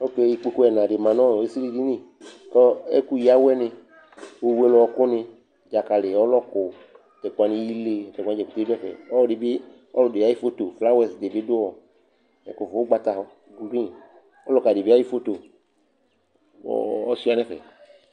Oke ikpoku ɛna dɩ ma nʋ ɔ esilidini kʋ ɛkʋyǝ awɛnɩ, ofuele ɔɣɔkʋnɩ, dzakalɩ, ɔlɔkʋ tʋ ɛkʋ wanɩ ile tʋ ɛkʋ wanɩ dza keke dʋ ɛfɛ Ɔlɔdɩ bɩ ɔlɔdɩ ayʋ foto, flawɛs dɩ bɩ dʋ ɔ ɛkʋfʋ ʋgbata gui Ɔlʋka dɩ bɩ ayʋ foto kʋ ɔ ɔsʋɩa nʋ ɛfɛ